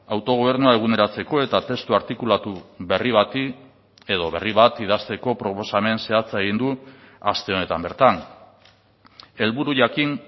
autogobernua eguneratzeko eta testu artikulatu berri bati edo berri bat idazteko proposamen zehatza egin du aste honetan bertan helburu jakin